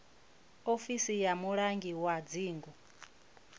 ofisi ya mulangi wa dzingu